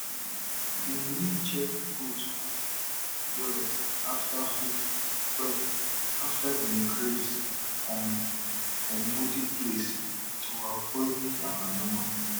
dem need check goat hoof well after hoof well after dem graze um for muddy place to avoid yamayama